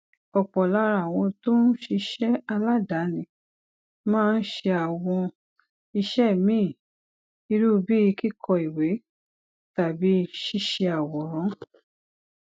òpò lára àwọn tó ń ṣiṣé aládàáni máa ń ṣe àwọn iṣé míì irú bíi kíkọ ìwé tàbí ṣíṣe àwòrán